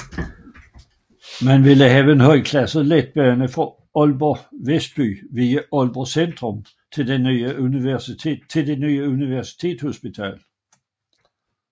Man ville have en højklasset letbane fra Aalborg Vestby via Aalborg Centrum til det nye Universitetshospital